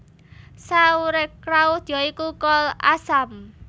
Sauerkraut ya iku kol asam